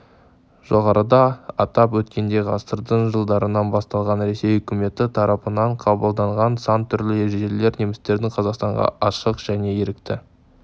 жоғарыда атап өткендей ғасырдың жылдарынан басталған ресей үкіметі тарапынан қабылданған сан түрлі ережелер немістердің қазақстанға ашық және ерікті